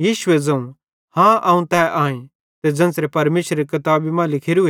यीशुए ज़ोवं हाँ अवं तै आईं ते ज़ेन्च़रां परमेशरेरी किताबी मां लिखोरू